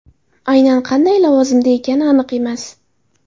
Aynan qanday lavozimda ekani aniq emas.